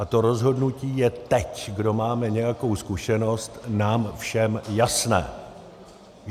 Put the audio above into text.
A to rozhodnutí je teď, kdo máme nějakou zkušenost, nám všem jasné.